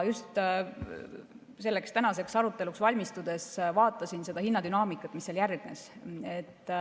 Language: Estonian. Tänaseks aruteluks valmistudes vaatasin seda hinnadünaamikat, mis seal järgnes.